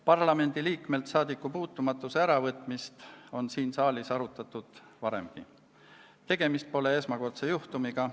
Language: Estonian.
Parlamendiliikmelt saadikupuutumatuse äravõtmist on siin saalis arutatud varemgi, tegemist pole esmakordse juhtumiga.